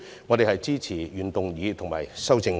我們支持原議案和修正案。